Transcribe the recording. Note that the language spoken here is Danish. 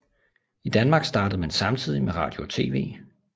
I Danmark startede man samtidigt med radio og TV